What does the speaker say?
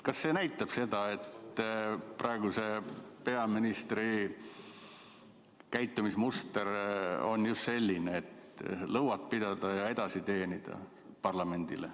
Kas see näitab seda, et praeguse peaministri käitumismuster parlamendi suhtes on selline, et lõuad pidada ja edasi teenida?